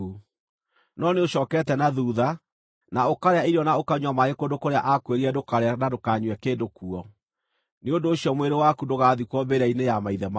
No nĩũcookete na thuutha, na ũkarĩa irio na ũkanyua maaĩ kũndũ kũrĩa aakwĩrire ndũkaarĩe na ndũkanyue kĩndũ kuo. Nĩ ũndũ ũcio mwĩrĩ waku ndũgaathikwo mbĩrĩra-inĩ ya maithe maku.’ ”